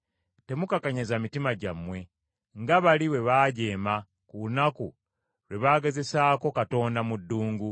temukakanyaza mitima gyammwe, nga bali bwe baajeema, ku lunaku lwe bagezesaako Katonda mu ddungu.